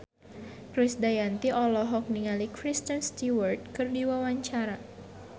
Krisdayanti olohok ningali Kristen Stewart keur diwawancara